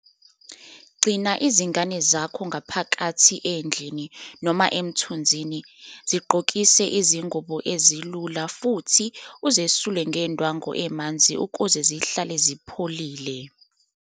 Gcina izingane zakho ngaphakathi endlini noma emthunzini, zigqokise izingubo ezilula futhi uzesule ngendwangu emanzi ukuze zihlale zipholile.